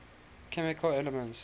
chemical elements